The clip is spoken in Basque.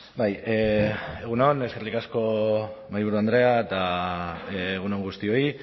bai egun on eskerrik asko mahaiburu andrea eta egun on guztioi